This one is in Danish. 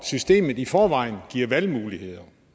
systemet i forvejen giver valgmuligheder